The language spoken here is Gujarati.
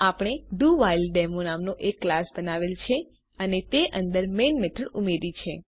આપણે ડોવ્હીલેડેમો નામનો એક ક્લાસ બનાવેલ છે અને તે અંદર મેઈન મેથડ ઉમેર્યી છે